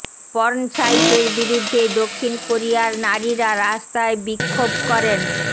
porn সাইটের বিরুদ্ধে দক্ষিণ কোরিয়ার নারীরা রাস্তায় বিক্ষোভ করেন